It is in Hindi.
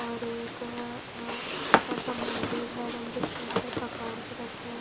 और एक छोटा सा मंदिर है मंदिर के अंदर भगवान जी रखे है।